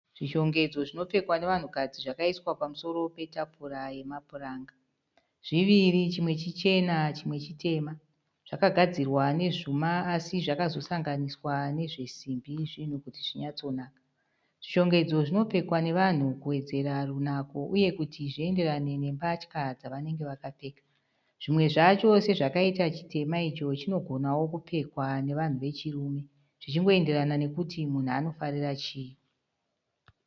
Zvishongedzo zvinopfekwa nevanhukadzi zvakaiswa pamusoro petafura yemapuranga. Zviviri chimwe chichena chimwe chitema. Zvakagadzirwa nezvuma asi zvakazosanganiswa nezvesimbi zvinhu kuti zvinyatsonaka. Zvishongedzo zvinopfekwa nevanhu kuwedzera runako uye kuti zvienderane nenhumbi dzavanenge vakapfeka. Zvimwe zvacho sezvakaita chitema icho zvinogonawo kupfekwa nevanhu vechirume zvichingoenderana nokuti munhu anofarira chii.